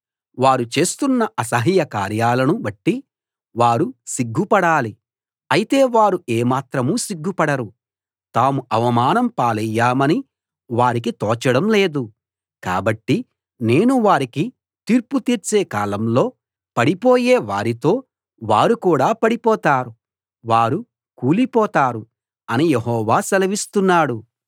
వారు చేస్తున్న అసహ్యకార్యాలను బట్టి వారు సిగ్గుపడాలి అయితే వారు ఏమాత్రం సిగ్గుపడరు తాము అవమానం పాలయ్యామని వారికి తోచడం లేదు కాబట్టి నేను వారికి తీర్పు తీర్చే కాలంలో పడిపోయే వారితో వారు కూడా పడిపోతారు వారు కూలిపోతారు అని యెహోవా సెలవిస్తున్నాడు